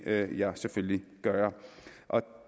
vil jeg selvfølgelig gøre